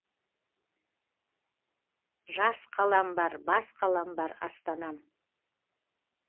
жас қалам бар бас қалам бар астанам